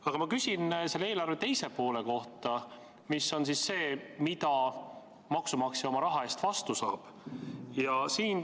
Aga ma küsin selle eelarve teise poole kohta: mida maksumaksja oma raha eest vastu saab?